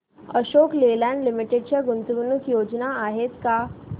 Ashok Leyland limited च्या गुंतवणूक योजना आहेत का